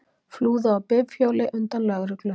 Flúðu á bifhjóli undan lögreglu